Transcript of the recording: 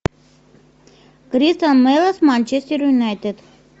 кристал пэлас манчестер юнайтед